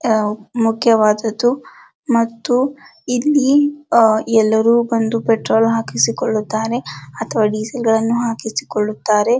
ಆಹ್ಹ್ ಮುಖ್ಯವಾದದ್ದು ಮತ್ತು ಇಲ್ಲಿ ಆ ಎಲ್ಲರೂ ಬಂದು ಪೆಟ್ರೋಲ್ ಹಾಕಿಸಿಕೊಳ್ಳುತ್ತಾರೆ ಅಥವಾ ಡಿಸೇಲ್ ಗಳನ್ನೂ ಹಾಕಿಸಿ ಕೊಳುತ್ತಾರೆ.